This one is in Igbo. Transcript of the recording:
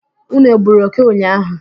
Ụnụ egburu òké ụnyaahụ?